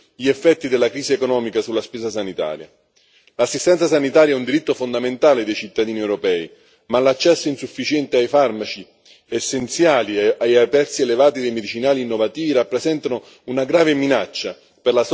L'assistenza sanitaria è un diritto fondamentale dei cittadini europei, ma l'accesso insufficiente ai farmaci essenziali e i prezzi elevati dei medicinali innovativi rappresentano una grave minaccia per la sostenibilità dei sistemi nazionali di assistenza sanitaria.